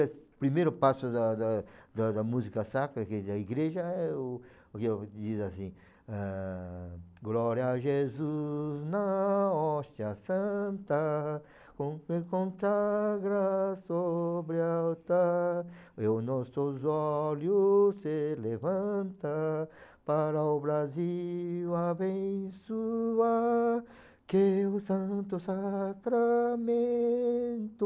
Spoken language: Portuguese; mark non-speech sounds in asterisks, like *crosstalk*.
O primeiro passo da da da da música sacra aqui da igreja é o o que ele diz assim... Ah, glória a Jesus nossa santa, *unintelligible* consagra sobre o altar, e os nossos olhos se levanta aara o Brasil abençoar, que o santo sacramento